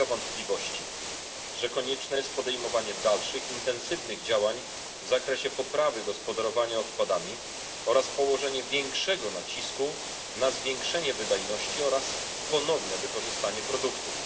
Nie ulega wątpliwości, że konieczne jest podejmowanie dalszych intensywnych działań w zakresie poprawy gospodarowania odpadami oraz położenie większego nacisku na podniesienie wydajności oraz ponowne użycie produktów.